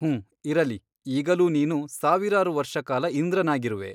ಹುಂ ಇರಲಿ ಈಗಲೂ ನೀನು ಸಾವಿರಾರು ವರ್ಷ ಕಾಲ ಇಂದ್ರನಾಗಿರುವೆ.